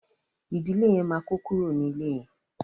ìdílé yén má kò kúrò ní ilè yén.